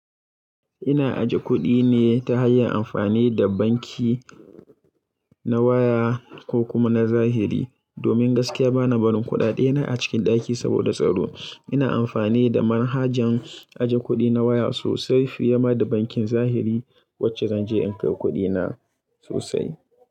Ina aje kuɗi ne ta hanyar amfani da banki na waya ko kuma na zahiri. Domin gaskiya bana barin kuɗaɗena a cikin ɗaki saboda tsaro. Ina amfani da manhajans aje kuɗi na waya sosai fiye ma da bankin zahiri wacce zanje in kai kuɗina sosai.